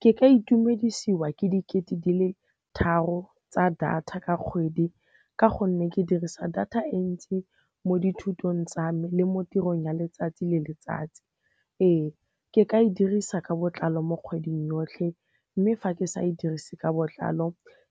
Ke ka itumedisiwa ke dikete di le tharo tsa data ka kgwedi ka gonne ke dirisa data e ntsi mo dithutong tsa me le mo tirong ya letsatsi le letsatsi. Ee, ke ka e dirisa ka botlalo mo kgweding yotlhe mme fa ke sa e dirise ka botlalo